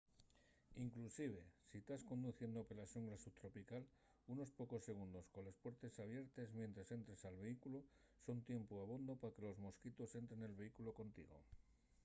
inclusive si tas conduciendo pela xungla subtropical unos pocos segundos coles puertes abiertes mientres entres al vehículu son tiempu abondo pa que los mosquitos entren nel vehículu contigo